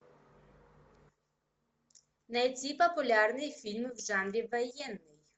найти популярный фильм в жанре военный